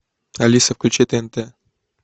алиса включи тнт